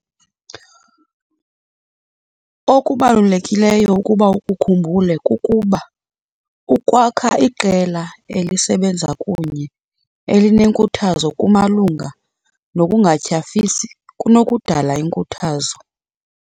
Okubalulekileyo ukuba ukukhumbule kukuba, ukwakha iqela elisebenza kunye elinenkuthazo kumalunga nokungatyhafisi kunokudala inkuthazo.